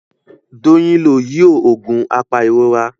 Doyin ló yíò oògùn apairora.